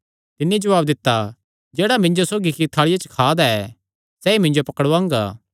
तिन्नी जवाब दित्ता जेह्ड़ा मिन्जो सौगी इक्की थाल़िया च खा दा ऐ सैई मिन्जो पकड़ुआंगा